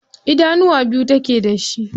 Idanuwa biyu take da shi.